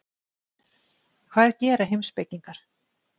Hvað gera heimspekingar?